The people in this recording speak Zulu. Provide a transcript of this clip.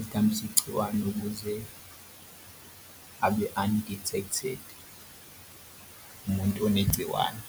isidambisi gciwane ukuze abe undetected umuntu onegciwane.